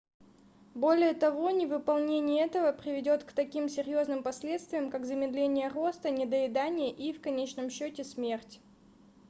более того невыполнение этого приведёт к таким серьёзным последствиям как замедление роста недоедание и в конечном счёте смерть